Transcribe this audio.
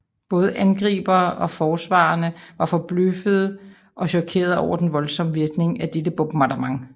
Både angriberne og forsvarerne var forbløffede og chokerede over den voldsomme virkning af dette bombardement